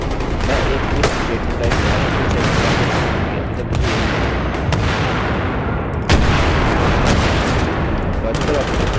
मैं एक if statementस्टेट्मेन्ट का एक उदाहरण फिर से इस्तेमाल करूँगा क्योंकि अभी तक मुझे यही मिला है